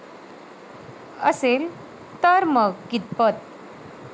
असेल, तर मग कितपत?